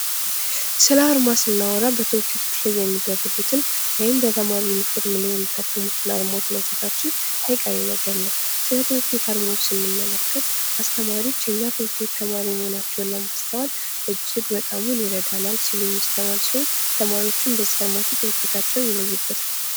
ስለ አርማ ስናወራ በትምህርት ቤቶች ላይ የሚደረጉትን ወይም በተማሪ ዩኒፎርም ላይ የሚታተሙትን አርማዎች ማንሳታችን አይቀሬ ነገር ነው። ትምህርት ቤት አርማዎች ስንመለከት አስተማሪዎች፣ እና ተማሪዎዎች ተማሪ መሆናቸውን ለማስተዋል እጅግ በጣም ይረዳናል ሲሉ እሚስተዋል ሲሆን ተማሪዎቹም በዚህ አርማቸው ትምህርት ቤታቸውን ይለዩበታል።